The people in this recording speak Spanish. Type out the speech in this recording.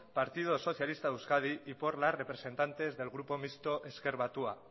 partido socialista de euskadi y por las representantes del grupo mixto ezker batua